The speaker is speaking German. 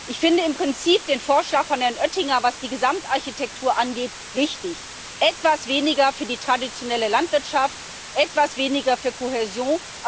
Ich finde im Prinzip den Vorschlag von Herrn Oettinger, was die Gesamtarchitektur angeht, richtig etwas weniger für die traditionelle Landwirtschaft, etwas weniger für Kohäsion.